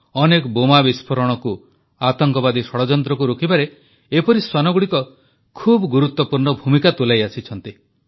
ଅନେକ ବୋମା ବିସ୍ଫୋରଣକୁ ଆତଙ୍କବାଦୀ ଷଡ଼ଯନ୍ତ୍ରକୁ ରୋକିବାରେ ଏପରି ଶ୍ୱାନଗୁଡ଼ିକ ଖୁବ୍ ଗୁରୁତ୍ୱପୂର୍ଣ୍ଣ ଭୂମିକା ତୁଲାଇ ଆସିଛନ୍ତି